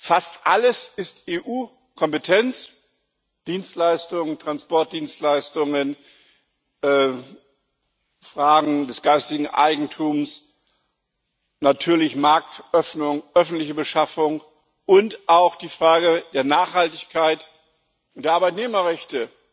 fast alles ist EU Kompetenz Dienstleistungen, Transportdienstleistungen, Fragen des geistigen Eigentums, natürlich die Marktöffnung, öffentliche Beschaffung und auch die Frage der Nachhaltigkeit und der Arbeitnehmerrechte.